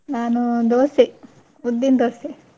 ನಾನು dosa ಉದ್ದಿನ dosa .